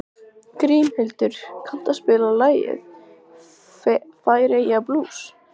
Grímhildur, kanntu að spila lagið „Færeyjablús“?